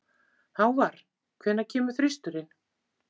Hávarr, hvenær kemur þristurinn?